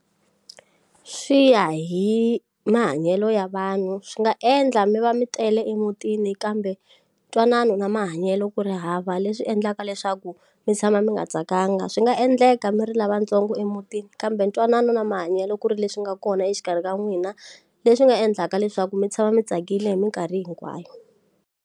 Swi ya hi mahanyelo ya vanhu swi nga endla mi va mi tele emutini kambe ntwanano na mahanyelo ku ri hava leswi endlaka leswaku mi tshama mi nga tsakanga swi nga endleka mi ri lavatsongo emutini kambe ntwanano na mahanyelo ku ri leswi nga kona exikarhi ka n'wina leswi nga endlaka leswaku mi tshama mi tsakile hi minkarhi hinkwayo.